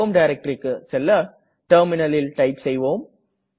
home directoryக்கு செல்ல terminalல் டைப் செய்வோம்